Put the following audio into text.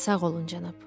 Sağ olun cənab.